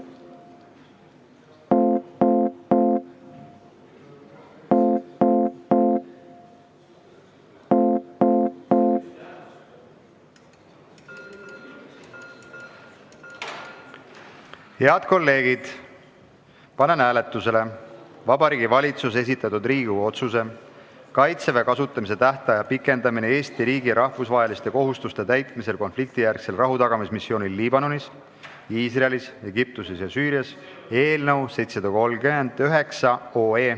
Head kolleegid, panen hääletusele Vabariigi Valitsuse esitatud Riigikogu otsuse "Kaitseväe kasutamise tähtaja pikendamine Eesti riigi rahvusvaheliste kohustuste täitmisel konfliktijärgsel rahutagamismissioonil Liibanonis, Iisraelis, Egiptuses ja Süürias" eelnõu 739.